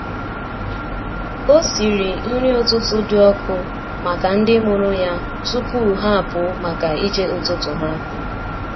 Ọ siri nri ụtụtụ dị ọkụ maka ndị mụrụ ya tupu ha apụ maka ije ụtụtụ ha.